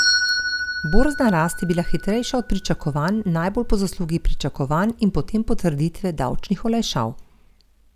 Borzna rast je bila hitrejša od pričakovanj najbolj po zaslugi pričakovanj in potem potrditve davčnih olajšav.